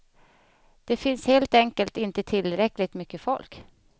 Det finns helt enkelt inte tillräckligt mycket folk.